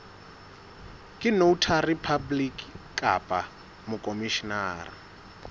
ke notary public kapa mokhomishenara